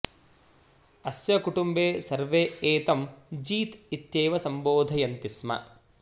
अस्य कुटुम्बे सर्वे एतं जीत् इत्येव सम्बोधयन्ति स्म